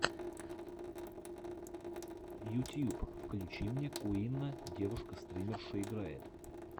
ютьюб включи мне куинна девушка стримерша играет